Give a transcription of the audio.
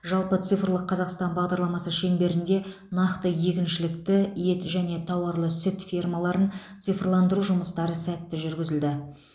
жалпы цифрлық қазақстан бағдарламасы шеңберінде нақты егіншілікті ет және тауарлы сүт фермаларын цифрландыру жұмыстары сәтті жүргізілді